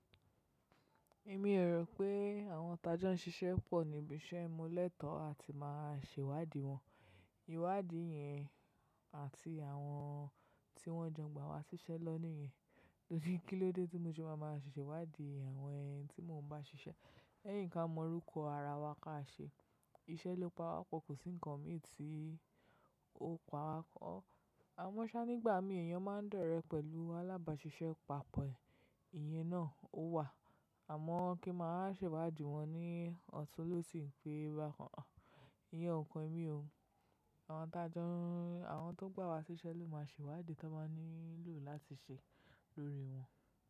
Èmi ò rò pé àwọn ti ajon ṣiṣẹ́ pọ̀ níbi iṣẹ́ mo létọ̀ọ́ a ti máa ṣè iwádìí wọn. Ìwádìí yẹn àti àwọn tí wọ́n jọ gbà wá ṣiṣẹ́ ni won níyẹn. Kilóde tí mo ṣe máa máa ṣẹ̀ iwádìí àwọn ẹni tí mò ń bá ṣiṣẹ́. Lẹ́yìn ka mọ orúkọ ara wa ka ṣe. Iṣẹ́ ló pa wá po, kò sí ńkọmì tí ó pa wá. Àwọn ṣá nígbà mi èèyàn máa ń dọ̀rẹ́ pẹ̀lú alábàáṣiṣẹ́ pa pọ̀ rẹ̀. Ìyèn náà ó wà. Àmọ́ kí n mà wá ṣẹ̀wádìí wọ́n ní ọ̀tún lósì pé bákàn à. Ìyèn ọ̀ kàn èmi ò, àwa ti ajo àwọn tó gbà wá ṣiṣẹ́ ló máa ṣèwádìí tí wọ́n báa nílò láti ṣe lórí wọ́n.